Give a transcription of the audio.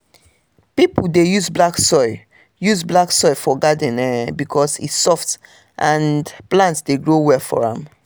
people dey use black soil use black soil for garden um because e soft and plant dey grow well for am.